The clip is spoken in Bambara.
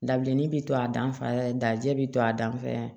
Dabilennin bi to a dan fɛ dajɛ bi to a dan fɛ